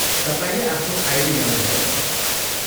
तपाईँले आफ्नो आइडी ल्याउनुभयो?